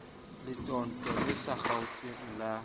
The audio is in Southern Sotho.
letootong le sa kgaotseng la